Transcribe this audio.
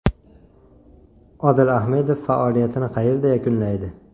Odil Ahmedov faoliyatini qayerda yakunlaydi?